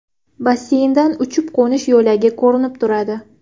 Basseyndan uchib-qo‘nish yo‘lagi ko‘rinib turadi.